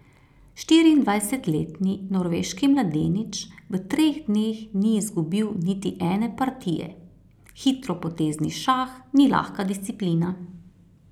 Štiriindvajsetletni norveški mladenič v treh dneh ni izgubil niti ene partije: 'Hitropotezni šah ni lahka disciplina.